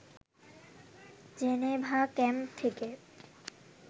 Geneva camp থেকে